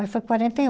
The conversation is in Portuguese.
Aí foi quarenta e um.